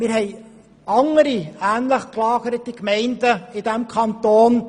Wir haben andere, ähnlich gelagerte Gemeinden in unserem Kanton.